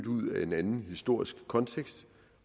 ud af en anden historisk kontekst